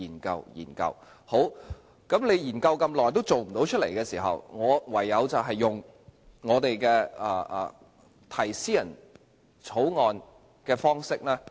既然她研究這麼久都落實不到，我唯有以私人條例草案的方式提出。